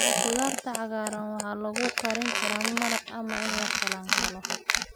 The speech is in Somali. Khudaarta cagaaran waxaa lagu kari karaa maraq ama in lakalankalo.